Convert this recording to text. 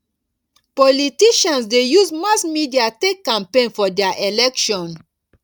politicians de use mass media take campaign for their election